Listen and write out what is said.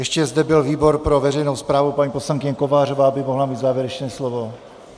Ještě zde byl výbor pro veřejnou správu, paní poslankyně Kovářová by mohla mít závěrečné slovo.